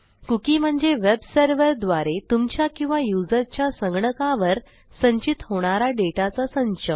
cookieम्हणजे web सरर्व्हरद्वारे तुमच्या किंवा युजरच्या संगणकावर संचित होणारा डेटाचा संच